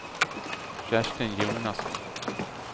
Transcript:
Kerstin Jonasson